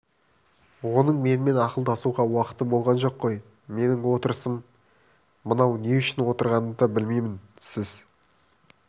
оның менімен ақылдасуға уақыты болған жоқ қой менің отырысым мынау не үшін отырғанымды да білмеймін сіз